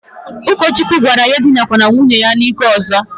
Ukochukwu gwara ya edinakwala nwunye ya n'ike ozo.